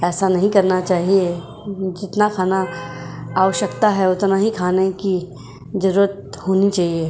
ऐसा नहीं करना चाहिए जितना खाना आवश्यकता है उतना ही खाने की जरूरत होनी चाहिए।